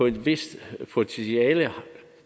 et vist potentiale